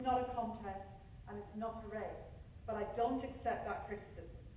It is not a contest and it is not a race, but I do not accept that criticism.